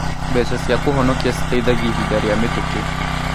Mbeca cia kũhonokia citeithagia ihinda rĩa mĩtũkĩ.